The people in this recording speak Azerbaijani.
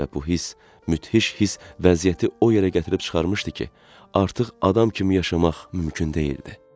Və bu hiss, mütəhiş hiss vəziyyəti o yerə gətirib çıxarmışdı ki, artıq adam kimi yaşamaq mümkün deyildi.